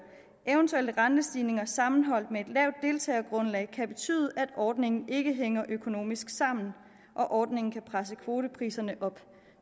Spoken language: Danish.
eventuelle rentestigninger sammenholdt med et lavt deltagergrundlag kan betyde at ordningen ikke hænger økonomisk sammen og ordningen kan presse kvotepriserne op